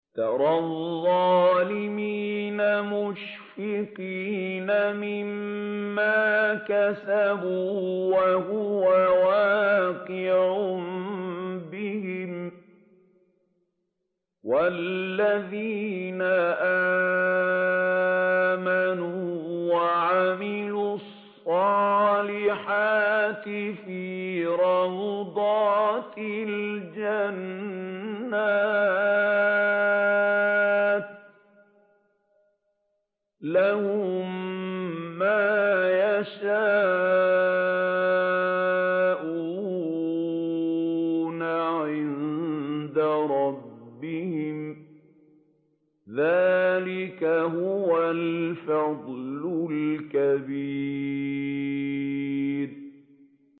تَرَى الظَّالِمِينَ مُشْفِقِينَ مِمَّا كَسَبُوا وَهُوَ وَاقِعٌ بِهِمْ ۗ وَالَّذِينَ آمَنُوا وَعَمِلُوا الصَّالِحَاتِ فِي رَوْضَاتِ الْجَنَّاتِ ۖ لَهُم مَّا يَشَاءُونَ عِندَ رَبِّهِمْ ۚ ذَٰلِكَ هُوَ الْفَضْلُ الْكَبِيرُ